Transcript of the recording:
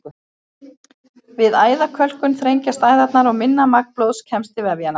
Við æðakölkun þrengjast æðarnar og minna magn blóðs kemst til vefjanna.